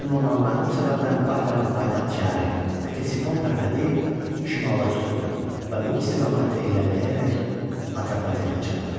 Lakin o naməlum səbəbdən Parfiyanın paytaxt şəhəri Ktesifon tərəfə deyil, şimala üz tutdu və bu istiqamətdə irəliləyərək Atropatenaya çatdı.